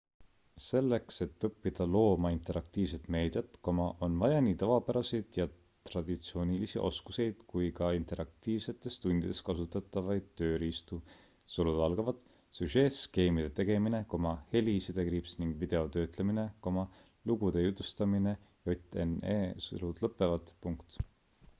selleks et õppida looma interaktiivset meediat on vaja nii tavapäraseid ja traditsioonilisi oskuseid kui ka interaktiivsetes tundides kasutatavaid tööriistu süžeeskeemide tegemine heli- ning videotöötlemine lugude jutustamine jne